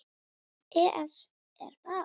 ES Er það?